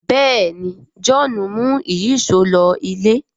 béèni John mú Ìyíṣòó ló ilé